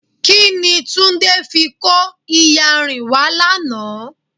Kini Túndé fi kó iyanrìn wá lánàá?